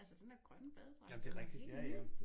Altså den der grønne badedragt den var helt ny